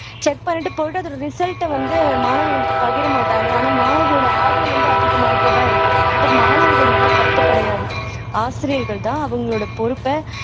check பண்ணிட்டு போயிட்டு அதோட ரிசல்ட்டை வந்து மாணவர்களுக்கு பகிர மாட்டாங்க ஆனா மாணவர்களோட ஆர்வம் வந்து அதிகமாகத்தான் இருக்கு அப்போ மாணவர்கள் மேல தப்பு கிடையாது ஆசிரியர்கள்தான் அவங்களோட பொறுப்பை